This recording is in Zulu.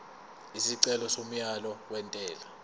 isicelo somyalo wentela